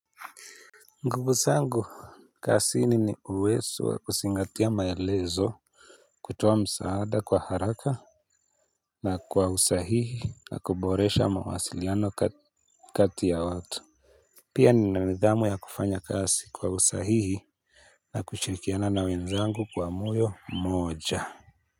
Nguvu zangu kazini ni uwezo wa kuzingatia maelezo. Kutoa msaada kwa haraka na kwa usahihi na kuboresha mawasiliano kati ya watu. Pia nina nidhamu ya kufanya kazi kwa usahihi na kushirikiana na wenzangu kwa moyo mmoja.